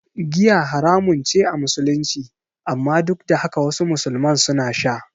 Giya haramun ce a Musulunci, amma duk da haka wasu musulman suna sha.